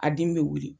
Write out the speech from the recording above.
A den bɛ wuli